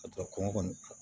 A sɔrɔ kɔngɔ kɔni